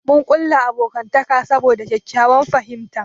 Mun kulla abokantaka saboda ƙyaƙƙyawan fahimta.